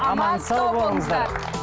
аман сау болыңыздар